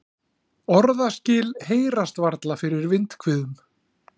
Orðaskil heyrast varla fyrir vindhviðum.